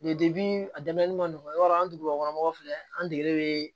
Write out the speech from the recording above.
a dɛmɛli man nɔgɔ i b'a dɔn an dugubakɔnɔ mɔgɔw filɛ an degelen bɛ